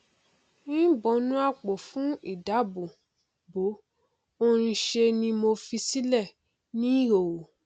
í bọnú àpò fún ìdáàbò bò ó nṣe ni mo fi sílẹ ní ìhòhò